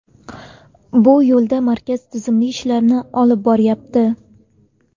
Bu yo‘lda markaz tizimli ishlarni olib boryapti”.